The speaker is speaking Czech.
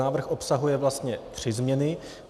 Návrh obsahuje vlastně tři změny.